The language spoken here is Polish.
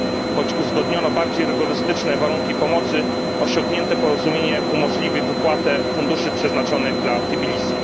Choć uzgodniono bardziej rygorystyczne warunki pomocy, osiągnięte porozumienie umożliwi wypłatę funduszy przeznaczonych dla Tbilisi.